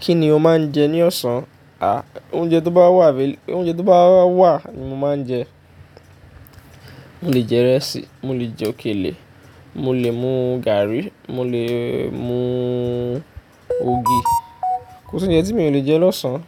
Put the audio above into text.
Kí ni o máa ń jẹ ní ọ̀sán? À, oúnjẹ tó bá wà, oúnjẹ tó bá wà ni mo máa ń jẹ. Mo lè jẹ ìrẹsì, mo lè jẹ òkèlè, mo lè mu gààrí, mo lè mu ògì. Kò sí oúnjẹ tí mi ò lè jẹ lọ́sàn án.